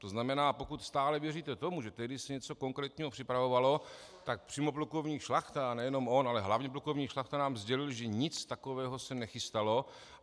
To znamená, pokud stále věříte tomu, že tehdy se něco konkrétního připravovalo, tak přímo plukovník Šlachta, a nejenom on, ale hlavně plukovník Šlachta nám sdělil, že nic takového se nechystalo.